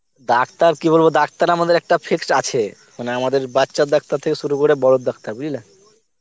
Doctor কি বলবো doctor আমাদের একটা fixed আছে মানে আমাদের বাচ্চার ডাক্তার থেকে শুরু করে বড়র ডাক্তার বুঝলে.